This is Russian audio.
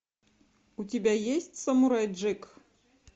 у тебя есть самурай джек